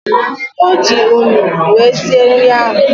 Oji unyi wee sie nri ahu